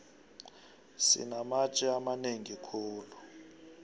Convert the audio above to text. sinamatje amanengi khulu